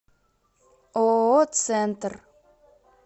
ооо центр